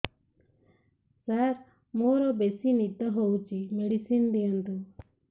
ସାର ମୋରୋ ବେସି ନିଦ ହଉଚି ମେଡିସିନ ଦିଅନ୍ତୁ